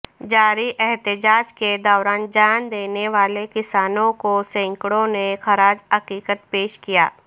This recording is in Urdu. جاری احتجاج کے دوران جان دینے والے کسانوں کو سینکڑوں نے خراج عقیدت پیش کیا